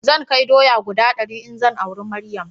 Zan kai doya guda dari in zan aura Maryam